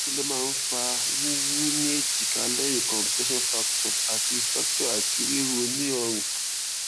kí ló máa ń fa wuwu ni ejika lẹyìn cs] compression fracture ati fracture ati riro ni orun